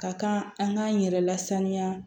Ka kan an k'an yɛrɛ lasaniya